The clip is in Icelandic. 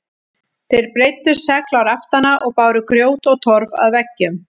Þeir breiddu segl á raftana og báru grjót og torf að veggjum.